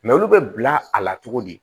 Mɛ olu bɛ bila a la cogo di